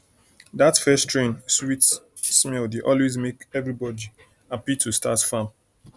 that first rain sweet smell dey always make everybody happy to start farm